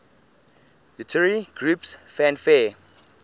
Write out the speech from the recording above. utari groups fanfare